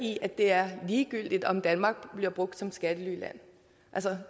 i at det er ligegyldigt om danmark bliver brugt som skattelyland